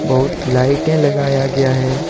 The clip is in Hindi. बहुत लाइटें लगाया गया है।